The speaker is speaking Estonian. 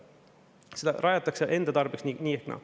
Ja seda rajatakse enda tarbeks nii ehk naa.